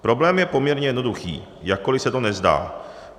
Problém je poměrně jednoduchý, jakkoliv se to nezdá.